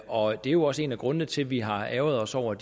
og det er jo også en af grundene til at vi har ærgret os over